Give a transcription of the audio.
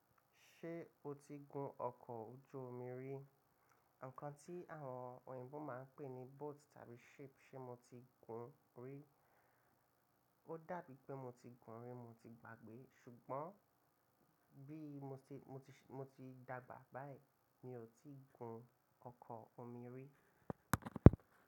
Ṣé o ti gun ọkọ̀ ojú omi rí? Nkàn tí àwọn oyinbo máa ń pè ní boat tàbí ship. Ṣé mo ti gun rí? Ó dàbí pé mo ti gun rí, mo ti gbàgbé ṣùgbọ́n bí mo ti, mo ti, mo ti dàgbà báyìí mi ò tí ì gun ọkọ̀ omi rí.